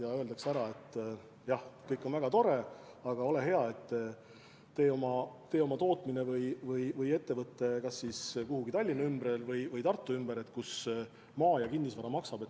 Neile öeldakse ära: jah, kõik on väga tore, aga ole hea, tee oma tootmine või ettevõte kas kuhugi Tallinna või Tartu lähedale, kus maa ja kinnisvara maksab.